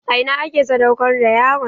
A ina ake sadaukar da yaron?